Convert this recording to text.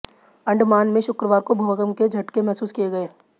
अंडमान में शुक्रवार को भूकंप के झटके महसूस किए गए